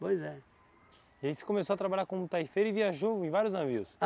Pois é. E aí você começou a trabalhar como taifeiro e viajou em vários navios?